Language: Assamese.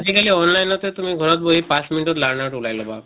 আজি কালি online তে তুমি ঘৰত বহি পাছ minute ত learners ওলাই লবা।